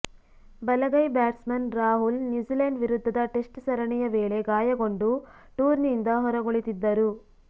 ಬಲಗೈ batsman Rahul New Zealand ವಿರುದ್ಧದ test ಸರಣಿಯ ವೇಳೆ ಗಾಯಗೊಂಡು ಟೂರ್ನಿಯಿಂದ ಹೊರಗುಳಿದಿದ್ದರು